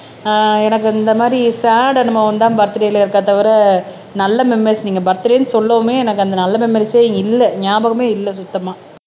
ஆஹ் எனக்கு இந்த மாதிரி சேட் அனுபவம்தான் பர்த்டேல இருக்கா தவிர நல்ல மெம்பெர்ஸ் நீங்க பர்த்டேன்னு சொல்லவுமே எனக்கு அந்த நல்ல மெமோரிஸே இல்ல ஞாபகமே இல்ல சுத்தமா